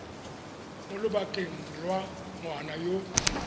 mo lobakeng lwa ngwana yo